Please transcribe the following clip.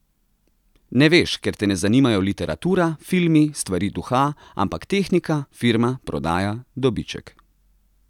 Ne veš, ker te ne zanimajo literatura, filmi, stvari duha, ampak tehnika, firma, prodaja, dobiček.